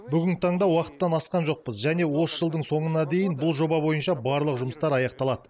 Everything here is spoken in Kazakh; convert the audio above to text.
бүгінгі таңда уақыттан асқан жоқпыз және осы жылдың соңына дейін бұл жоба бойынша барлық жұмыстар аяқталады